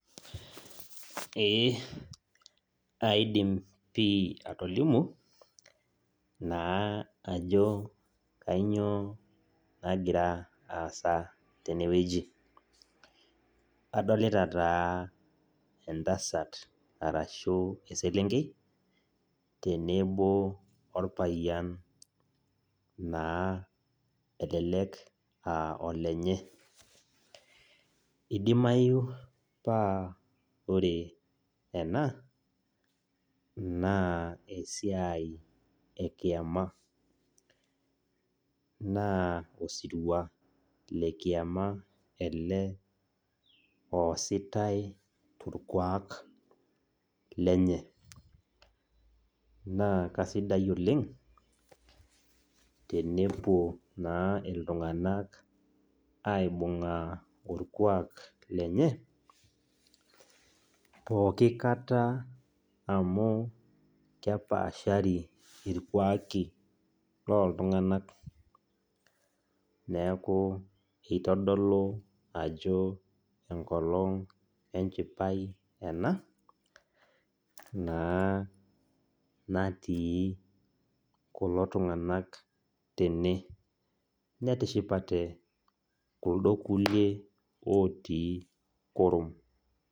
Eeh aidim pii atolimu, naa ajo kainyoo nakira aasa tene wueji. Adolita taa entasat arashu eselenkei. Tenebo orpayian naa elelek aa olenye. Idimayu naa wore ena, naa esiai ekiama , naa osirua lekiama ele oositae torkuak lenye. Naa kaisidai oleng', tenepuo naa iltunganak aibungaa orkuak lenye, pookin kata amu kepaashari irkuaki looltunganak. Neeku kitodolu ajo enkolong' enchipae ena, naa natii kulo tunganak tene. Netishipate kuldo kulie ootii kurum.